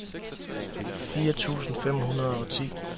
fire tusind fem hundrede og ti